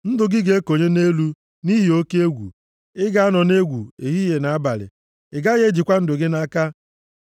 Ndụ gị ga-ekonye nʼelu nʼihi oke egwu. Ị ga-anọ nʼegwu, ehihie na abalị, ị gaghị ejikwa ndụ gị nʼaka.